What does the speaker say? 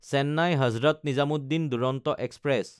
চেন্নাই–হজৰত Nizamuddin Duronto express